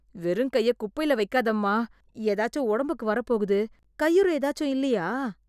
வெறுங்கைய குப்பைல வைக்காதம்மா, ஏதாச்சு உடம்புக்கு வரப் போகுது.கையுறை ஏதாச்சும் இல்லையா?